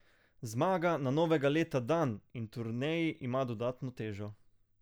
Zmaga na novega leta dan in turneji ima dodatno težo.